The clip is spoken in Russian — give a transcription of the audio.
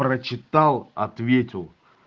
прочитал ответил